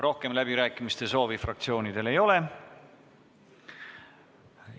Rohkem läbirääkimiste soovi fraktsioonidel ei ole.